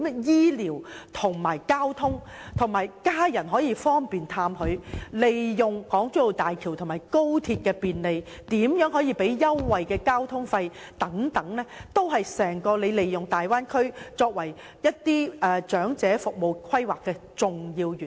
醫療、交通和家人探訪上的便利，加上利用港珠澳大橋和高鐵提供交通費優惠，這些都是利用大灣區進行長者服務規劃的重要元素。